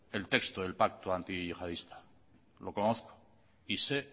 el texto del pacto antiyihadista lo conozco y sé